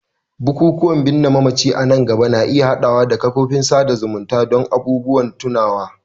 bukukuwan bayan binne mamaci a nan gaba na iya haɗawa da kafofin sada zumunta don abubuwan tunawa.